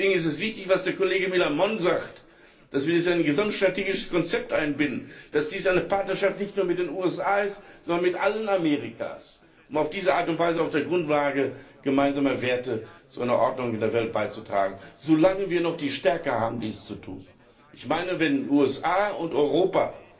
Deswegen ist es wichtig, was der Kollege Millán Mon sagt, dass wir es in ein gesamtstrategisches Konzept einbinden, dass dies eine Partnerschaft nicht nur mit den USA ist, sondern mit allen Amerikas, um auf diese Art und Weise auf der Grundlage gemeinsamer Werte zu einer Ordnung in der Welt beizutragen, solange wir noch die Stärke haben, dies zu tun. Wenn die USA und Europa